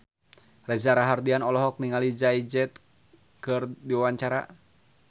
Reza Rahardian olohok ningali Jay Z keur diwawancara